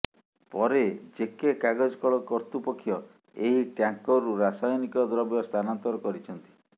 ପରେ ଜେକେ କାଗଜ କଳ କର୍ତ୍ତୃପକ୍ଷ ଏହି ଟ୍ୟାଙ୍କରରୁ ରସାୟନିକ ଦ୍ରବ୍ୟ ସ୍ଥାନାନ୍ତର କରିଛନ୍ତି